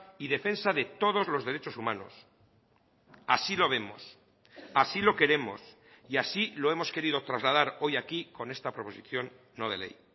y defensa de todos los derechos humanos así lo vemos así lo queremos y así lo hemos querido trasladar hoy aquí con esta proposición no de ley